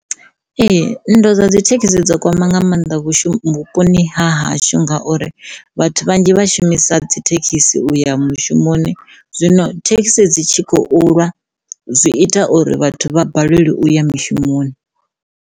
Ee, nndwa dza dzi thekhisi dzo kwama nga mannḓa v vhuponi ha hashu ngauri vhathu vhanzhi vhashumisa dzi thekhisi uya mushumoni zwino thekhisi dzi tshi khou lwa zwi ita uri vhathu vha balelwa uya mishumoni.